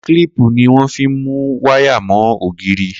Klipí ni wọn fi n mú wàyá mọ ógirí